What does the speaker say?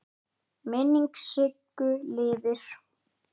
Minning Siggu lifir.